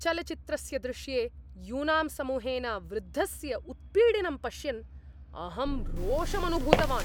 चलच्चित्रस्य दृश्ये यूनां समूहेन वृद्धस्य उत्पीडनं पश्यन् अहं रोषम् अनुभूतवान्।